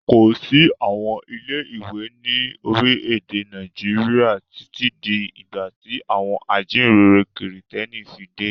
Kò sí àwọn ilé-ìwé ní orílẹ̀-èdè Nàìjíríà títí di ìgbà tí àwọn ajíǹrere Kìrìtẹ́ẹ́nì fi dé.